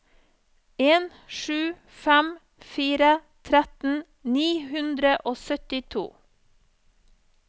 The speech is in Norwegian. en sju fem fire tretten ni hundre og syttito